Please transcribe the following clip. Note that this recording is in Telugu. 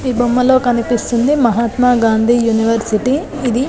ఈ బొమ్మలో కనిపిస్తుంది మహాత్మా గాంధీ యూనివర్సిటీ ఇది